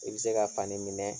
I bɛ se ka fani minɛ